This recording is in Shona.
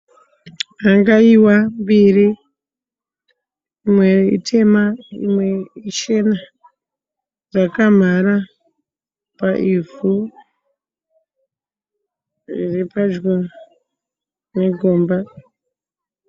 Hangaiwa mbiri. Imwe itema imwe ichena. Dzakamhara paivhu riri pedyo negomba.